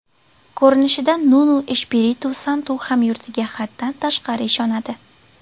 Ko‘rinishidan, Nunu Eshpiritu Santu hamyurtiga haddan tashqari ishonadi.